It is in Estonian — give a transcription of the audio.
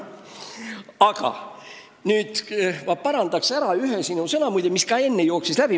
Aga ma parandan nüüd ära sinu sõnad, mis, muide, enne ka siit läbi jooksid.